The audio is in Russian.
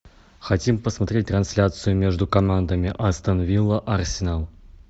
хотим посмотреть трансляцию между командами астон вилла арсенал